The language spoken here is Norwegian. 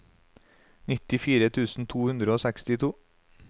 nittifire tusen to hundre og sekstito